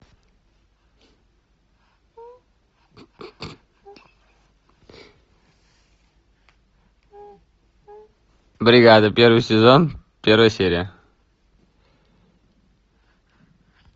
бригада первый сезон первая серия